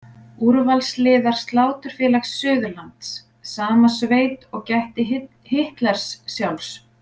Úrvalsliðar Sláturfélag Suðurlands, sama sveit og gætti Hitlers sjálfs.